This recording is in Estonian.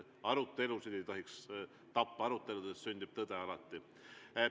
Arutelusid ei tohiks tappa, aruteludes sünnib alati tõde.